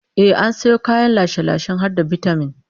Ehh, an sayo kayan lashe-lashen har da bitamin